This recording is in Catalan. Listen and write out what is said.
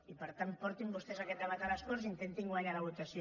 i per tant portin vostès aquest debat a les corts i intentin guanyar la votació